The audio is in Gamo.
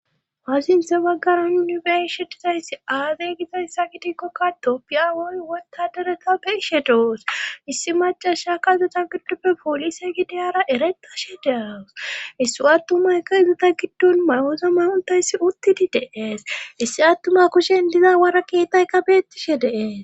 Hasinthe baggaran unibeshe dizayssi azegizayssa gitikkokka tooppiya woy wota dereta beshe doos issi macasha ka uzeta giddoppe poolise gideyara eretashe dewus issu attumayka izata giddon mayoza mahontayssi uttidi deees issi attuma kushen diza wara keetay ka beettishe de'es